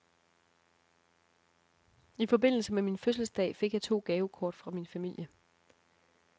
I forbindelse med min fødselsdag fik jeg to gavekort fra min familie.